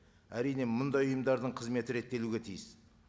әрине мұндай ұйымдардың қызметі реттелуге тиіс